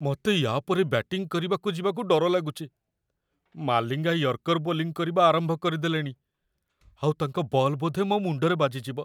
ମତେ ୟା'ପରେ ବ୍ୟାଟିଂ କରିବାକୁ ଯିବାକୁ ଡର ଲାଗୁଚି । ମାଲିଙ୍ଗା ୟର୍କର ବୋଲିଂ କରିବା ଆରମ୍ଭ କରିଦେଲେଣି ଆଉ ତାଙ୍କ ବଲ୍ ବୋଧେ ମୋ ମୁଣ୍ଡରେ ବାଜିଯିବ ।